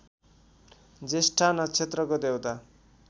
ज्येष्ठा नक्षत्रको देवता